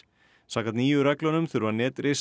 samkvæmt nýju reglunum þurfa